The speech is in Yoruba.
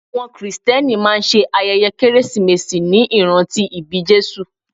Àwọn krìstẹ́nì máa ṣe ayẹyẹ kérésìmesì ní ìrántí ìbí Jésù.